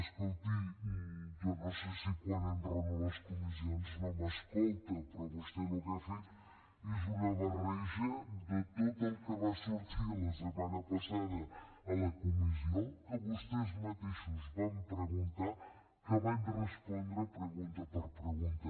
escolti jo no sé si quan enraono a les comissions no m’escolta però vostè el que ha fet és una barreja de tot el que va sortir la setmana passada a la comissió que vostès mateixos van preguntar que hi vaig respondre pregunta per pregunta